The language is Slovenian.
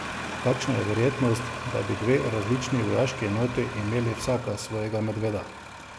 Kakšna je verjetnost, da bi dve različni vojaški enoti imeli vsaka svojega medveda?